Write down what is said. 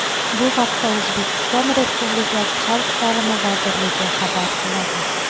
Bu haqda O‘zbekiston Respublikasi Xalq ta’limi vazirligi xabar qiladi .